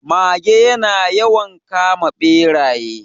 Mage ya na yawan kama Ɓeraye